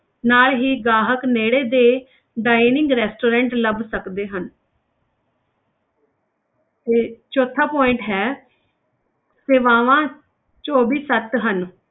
ਨਾਲ ਹੀ ਗਾਹਕ ਨੇੜੇ ਦੇ dining restaurant ਲੱਭ ਸਕਦੇ ਹਨ ਤੇ ਚੌਥਾ point ਹੈ ਸੇਵਾਵਾਂ ਚੌਵੀ ਸੱਤ ਹਨ।